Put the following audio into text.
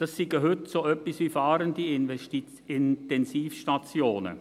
Das seien heute so etwas wie fahrende Intensivstationen.